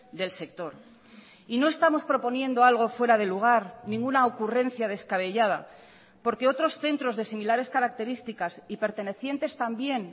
del sector y no estamos proponiendo algo fuera de lugar ninguna ocurrencia descabellada porque otros centros de similares características y pertenecientes también